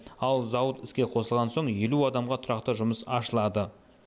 ал зауыт іске қосылған соң елу адамға тұрақты жұмыс ашылады